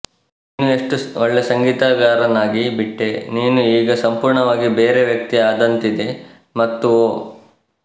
ನೀನು ಎಷ್ಟು ಒಳ್ಳೆ ಸಂಗೀತಗಾರನಾಗಿಬಿಟ್ಟೆ ನೀನು ಈಗ ಸಂಪೂರ್ಣವಾಗಿ ಬೇರೆ ವ್ಯಕ್ತಿ ಆದಂತಿದೆ ಮತ್ತು ಓ